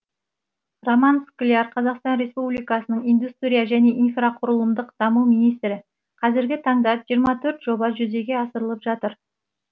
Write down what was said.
роман скляр қазақстан республикасының индустрия және инфрақұрылымдық даму министрі қазіргі таңда жиырма төрт жоба жүзеге асырылып жатыр